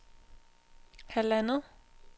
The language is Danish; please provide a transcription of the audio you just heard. halvandet